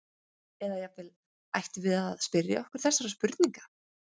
Eða jafnvel: Ættum við að spyrja okkur þessara spurninga?